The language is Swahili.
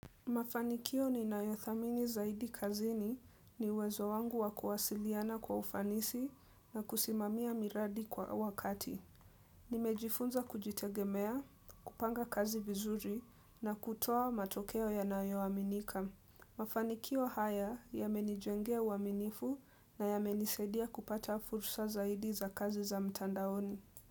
Mafanikio ni nayothamini zaidi kazini ni uwezo wangu wa kuwasiliana kwa ufanisi na kusimamia miradi kwa wakati. Nimejifunza kujitegemea, kupanga kazi vizuri na kutoa matokeo ya nayo aminika. Mafanikio haya yamenijengea uaminifu na yamenisaidia kupata fursa zaidi za kazi za mtandaoni.